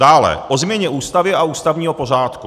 Dále o změně Ústavy a ústavního pořádku.